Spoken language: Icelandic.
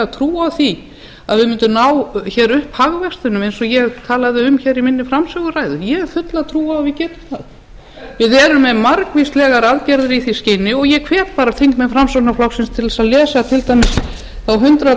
á því að við mundum ná hér upp hagvextinum eins og ég talaði um í minni framsöguræðu ég hef fulla trúa á að við getum það við erum með margvíslegar aðgerðir í því skyni og ég hvet bara þingmenn framsóknarflokksins til þess að lesa til dæmis þá hundrað